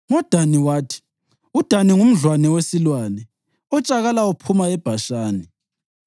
NgoDani wathi: “UDani ngumdlwane wesilwane, otshakala uphuma eBhashani.”